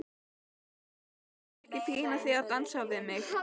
Ég skal ekki pína þig til að dansa við mig.